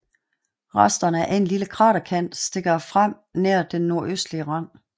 Resterne af en lille kraterkant stikker frem nær den nordøstlige rand